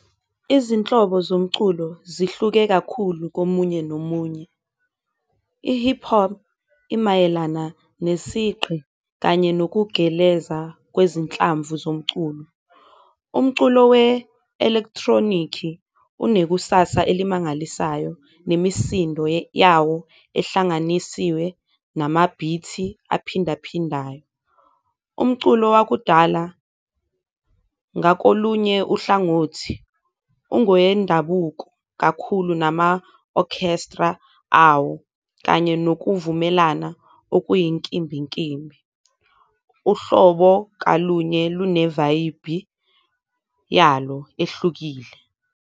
Izinhlobo zomculo zihluke kakhulu komunye nomunye i-hip-hop imayelana nesigqi kanye nokugeleza kwezinhlamvu zomculo, umculo we-electronic-i unekusasa elimangalisayo nemisindo yawo ehlanganisiwe namabhithi aphindaphindayo. Umculo wakudala ngakolunye uhlangothi ungowendabuko kakhulu nama-orchestra awo kanye nokuvumelana okuyinkimbinkimbi, uhlobo kalunye linevayibhi yalo ehlukile.